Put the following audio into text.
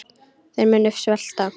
Þeir munu svelta.